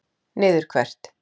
Niður hvert?